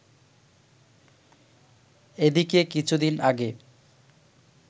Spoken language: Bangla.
এদিকে কিছুদিন আগে